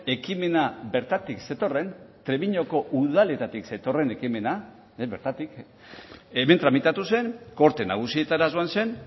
ekimena bertatik zetorren trebiñoko udaletatik zetorren ekimena bertatik hemen tramitatu zen gorte nagusietara joan zen